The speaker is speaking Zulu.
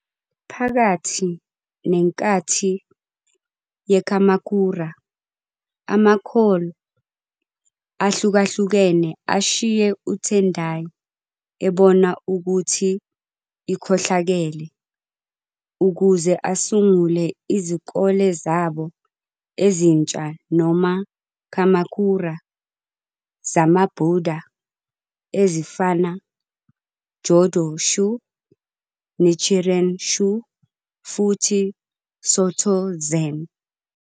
Phakathi nenkathi ye-Kamakura, amakholi ahlukahlukene ashiye uTendai, ebona ukuthi ikhohlakele, ukuze asungule izikole zabo "ezintsha" noma " Kamakura " zamaBuddha ezifana Jōdo-shū, Nichiren-shū futhi Sōtō Zen.